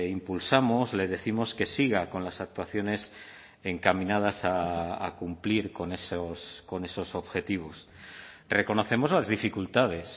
impulsamos le décimos que siga con las actuaciones encaminadas a cumplir con esos objetivos reconocemos las dificultades